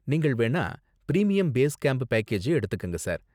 நீங்கள் வேணா premium base camp package எடுத்துக்கங்க, சார்.